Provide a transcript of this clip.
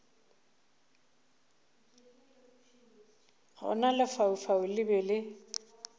gona lefaufau le be le